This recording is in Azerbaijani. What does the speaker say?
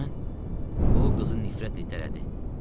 Sən o qızı nifrətlə itələdi.